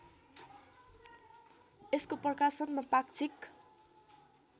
यसको प्रकाशनमा पाक्षिक